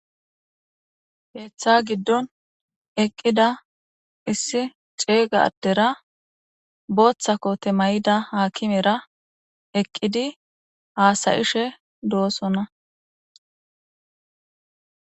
Keeththa giddon eqqida issi ceegaaddera booththa kote may'ida haakimera eqqidi haasayishe do'osonna.